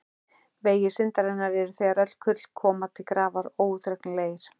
Vegir syndarinnar eru þegar öll kurl koma til grafar óútreiknanlegir.